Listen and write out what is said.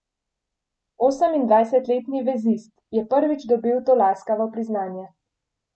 Osemindvajsetletni vezist je prvič dobil to laskavo priznanje.